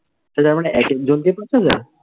সে তার মানে এক এক জন কে পাঁচ হাজার?